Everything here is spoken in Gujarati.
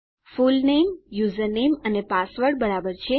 ફુલનેમ યુઝરનેમ અને પાસવર્ડ બરાબર છે